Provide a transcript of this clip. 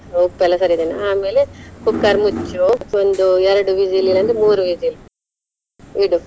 ಉಪ್ಪೆಲ್ಲಾ ಸರಿ ಇದೆ ಆಮೇಲೆ cooker ಮುಚ್ಚು ಒಂದು ಎರಡು whistle ಇಲ್ಲದಿದ್ರೆ ಮೂರು whistle ಇಡು.